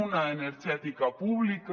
una energètica pública